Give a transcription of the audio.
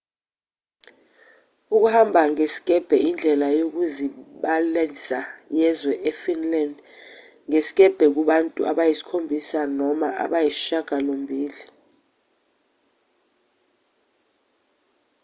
ukuhamba ngezikebhe indlela yokuzilibazisa yezwe efinland ngesikebhe kubantu abayisikhombisa noma abayisishiyagalombili